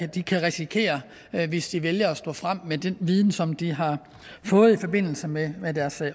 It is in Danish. de kan risikere hvis de vælger at stå frem med den viden som de har fået i forbindelse med med deres